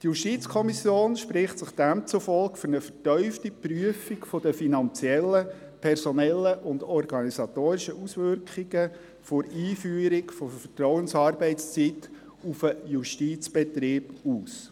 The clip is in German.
Die JuKo spricht sich demzufolge für eine vertiefte Prüfung der finanziellen, personellen und organisatorischen Auswirkungen der Einführung der Vertrauensarbeitszeit auf den Justizbetrieb aus.